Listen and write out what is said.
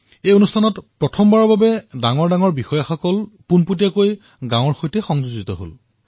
এই কাৰ্যসূচীৰ অধীনত প্ৰথমবাৰলৈ জ্যেষ্ঠ বিষয়াসমূহ প্ৰত্যক্ষভাৱে গাঁৱত উপস্থিত হৈছে